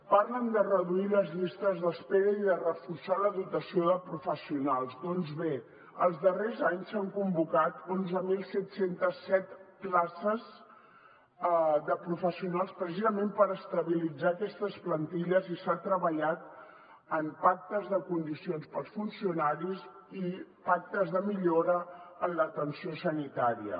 parlen de reduir les llistes d’espera i de reforçar la dotació de professionals doncs bé els darrers anys s’han convocat onze mil set cents i set places de professionals precisament per estabilitzar aquestes plantilles i s’ha treballat en pactes de condicions per als funcionaris i pactes de millora en l’atenció sanitària